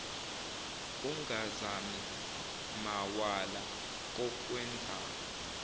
ungazami mawala kokwenzayo